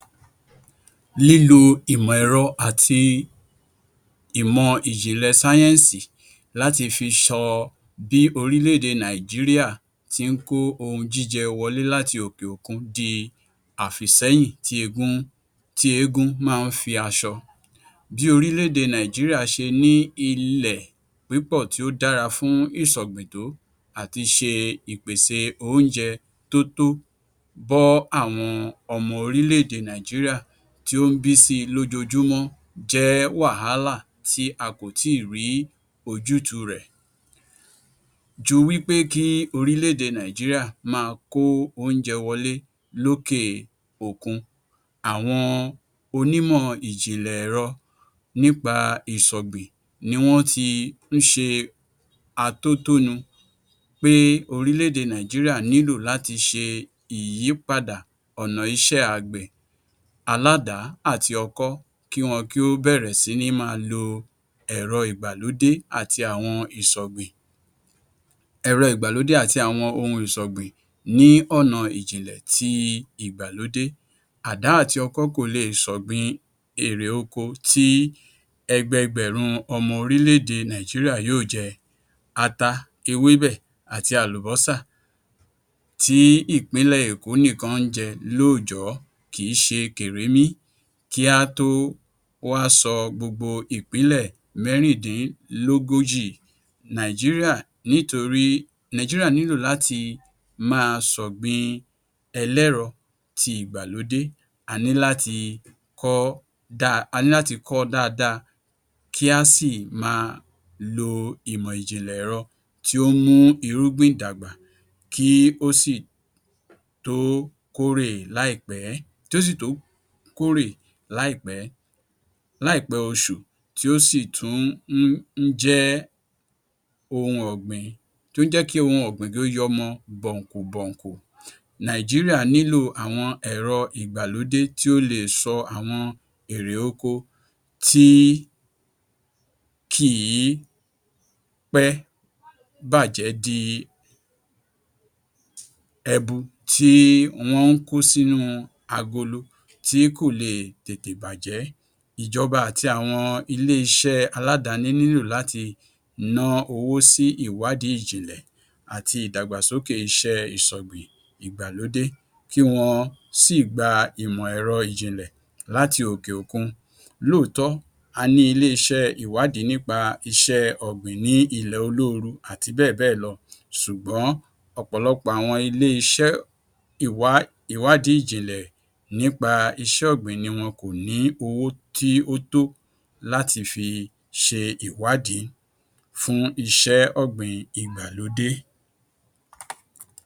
Lílo ìmọ ẹ̀rọ àti ìmọ ìjìnlẹ̀ sáyẹ́ńsì láti fi sọ bí orílẹ̀ èdè Nàìjíríà ti ń kó ohun jíjẹ wọlé láti òkè òkun di àfìsẹ́yìn tí egun tí eégún máa ń fi aṣọ. Bí orílẹ̀ èdè Nàìjíríà ṣe ní ilẹ̀ pípọ̀ tí ó dára fún ìṣọ̀gbìn tó, à ti ṣe ìpèsè oúnjẹ tó tó bọ́ àwọn ọmọ orílẹ̀ èdè Nàìjíríà tí ó ń bí si lójóojúmọ́ jẹ́ wàhálà tí a kò tíì rí ojútùú rẹ̀. Ju wípé kí orílẹ̀ èdè Nàìjíríà máa kó oúnjẹ wọlé lókè òkun, àwọn onímọ̀ ìjìnlẹ̀ ẹ̀rọ nípa ìṣọ̀gbìn ni wọ́n ti ń ṣe atótónu pé orílẹ̀ èdè Nàìjíríà nílò láti ṣe ìyípadà ọ̀nà iṣẹ́ àgbẹ̀ aládàá àti ọkọ́. Kí wọ́n kí ó bẹ̀rẹ̀ sí ní máa lo ẹ̀rọ ìgbàlódé àti àwọn ìṣọ̀gbìn, ẹ̀rọ ìgbàlódé àti àwọn ohun ìṣọ̀gbìn ní ọ̀nà ìjìnlẹ̀ ti ìgbàlódé. Àdá àti ọkọ́ kò leè ṣọ̀gbìn èrè oko tí ẹgbẹẹgbèrún ọmọ orílẹ̀ èdè Nàìjíríà yóò jẹ. Ata, ewébẹ̀ àti àlùbọ́sà tí ìpínlẹ̀ Èkó nìkan ń jẹ lóòjọ́ kìí ṣe kèremí, kí a tó wá sọ gbogbo ìpínlẹ̀ mẹ́rìndìnlógójì Nàìjíríà nítorí Nàìjíríà nílò láti máa ṣọ̀gbìn-in ẹlẹ́rọ ti ìgbàlódé. A ní láti kọ́, a ní láti kọ́ ọ dáadáa kí a sì máa lo ìmọ̀ ìjìnlẹ̀ ẹ̀rọ tí ó ń mú irúgbìn dàgbà. Kí ó sì tó kórè láìpẹ́, tó sì tó kórè láìpẹ́ láìpẹ́ oṣù tí ó sì tún ń ń jẹ́ ohun ọ̀gbìn tó ń jẹ́ kí ohun ọ̀gbìn kí ó yọmọ bọ̀ǹkù bọ̀ǹkù. Nàìjíríà nílò àwọn ẹ̀rọ ìgbàlódé tí ó leè sọ àwọn èrè oko tí kìí pẹ́ bàjẹ́ di ẹbu tí wọ́n ń kó sínú agolo tí kò leè tètè bàjẹ́. Ìjọba àti àwọn ilé-iṣẹ́ aládàání nílò láti ná owó sí ìwádìí ìjìnlẹ̀ àti ìdàgbàsókè iṣẹ́ ìṣọ̀gbìn ìgbàlódé kí wọ́n sì gba ìmọ̀ ẹ̀rọ ìjìnlẹ̀ láti òkè òkun. Lóòótọ́, a ní ilé-iṣẹ́ ìwádìí nípa iṣẹ́ ọ̀gbìn ní ilẹ̀ olóoru àti bẹ́ẹ̀ bẹ́ẹ̀ lọ ṣùgbọ́n ọ̀pọ̀lọpọ̀ àwọn ilé-iṣẹ́ ìwá ìwádìí ìjìnlẹ̀ nípa iṣẹ́ ọ̀gbìn ni wọn kò ní owó tí ó tó láti fi ṣe ìwádìí fún iṣẹ́ ọ̀gbìn Ìgbàlódé.